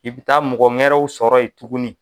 I bɛ taa mɔgɔ ŋɛrɛw sɔrɔ yen tuguni.